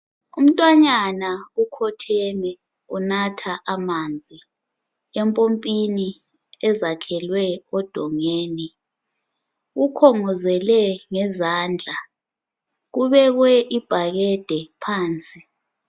Umntwanyana ukhotheme unatha amanzi empompini ezakhelwe odongeni ukhongozele ngezandla kubekwe ibhakede phansi